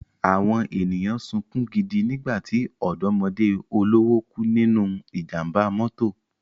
Àwọn ènìyàn sunkún gidi nígbà tí ọ̀dọ́mọdé olówó kú nínú ìjàmbá mọ́tò